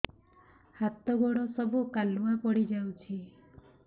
ହାତ ଗୋଡ ସବୁ କାଲୁଆ ପଡି ଯାଉଛି